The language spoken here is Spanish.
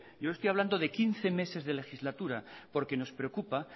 yo le estoy hablando de quince meses de legislatura porque nos preocupa